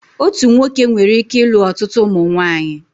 Otu nwoke nwereike ilu ọtụtụ ụmụnwaanyị